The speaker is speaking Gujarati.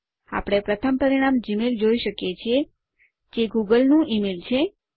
આપણે પ્રથમ પરિણામ જીમેઇલ જોઇ શકીએ છીએ જે ગૂગલ નું ઇમેઇલ છે